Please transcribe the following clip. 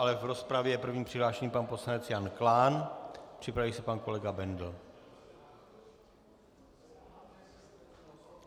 Ale v rozpravě je první přihlášený pan poslanec Jan Klán, připraví se pan kolega Bendl.